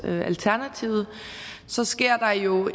alternativet så sker der jo